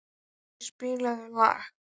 Skeggi, spilaðu lag.